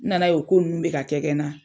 N nana ye o ko nunnu bɛ ka kɛ kɛ n na.